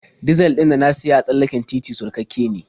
Dizal ɗin da na siya a tsallaken titi surkakke ne.